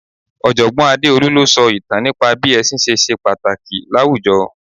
Ojogbon Adeolu ló sọ ìtàn nípa bí ẹsin ṣe ṣe pàtàkì láwùjọ.